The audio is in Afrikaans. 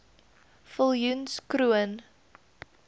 viljoenskroon